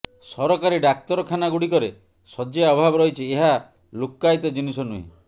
ସରକାରୀ ଡାକ୍ତରଖାନାଗୁଡ଼ିକରେ ଶଯ୍ୟା ଅଭାବ ରହିଛି ଏହା ଲୁକ୍କାୟିତ ଜିନିଷ ନୁହେଁ